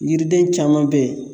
Yiriden caman bɛ yen